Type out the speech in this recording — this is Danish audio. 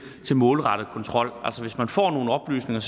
målrettet kontrol altså hvis man får nogle oplysninger